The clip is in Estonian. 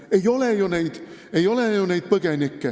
Ei ole neid põgenikke!